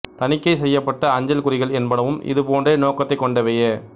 தணிக்கை செய்யப்பட்ட அஞ்சல்குறிகள் என்பனவும் இது போன்ற நோக்கத்தைக் கொண்டவையே